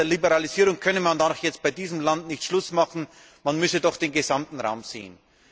Bei der Liberalisierung könne man da doch jetzt bei diesem Land nicht Schluss machen, man müsse doch den gesamten Raum sehen.